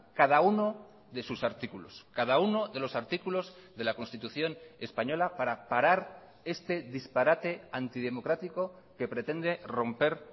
cada uno de sus artículos cada uno de los artículos de la constitución española para parar este disparate antidemocrático que pretende romper